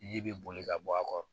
Ji bɛ boli ka bɔ a kɔrɔ